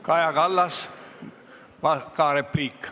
Kaja Kallas, ka repliik.